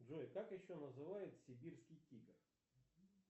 джой как еще называется сибирский тигр